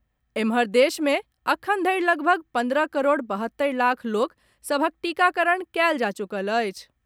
एम्हर, देश मे एखन धरि लगभग पन्द्रह करोड़ बहत्तरि लाख लोक सभक टीकाकरण कयल जा चुकल अछि।